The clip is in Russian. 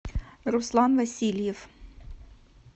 руслан васильев